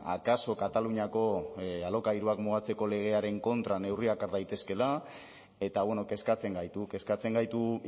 akaso kataluniako alokairuak mugatzeko legearen kontra neurriak har daitezkeela eta kezkatzen gaitu kezkatzen gaitu